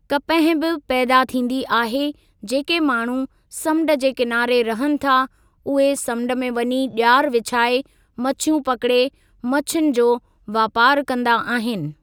कपह बि पैदा थींदी आहे जेके माण्हूं समुंड जे किनारे रहनि था उहे समुंड में वञी ॼार विछाए मच्छीयूं पकड़े मच्छियुनि जो वापारु कंदा आहिनि।